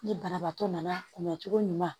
Ni banabaatɔ nana kunbɛncogo ɲuman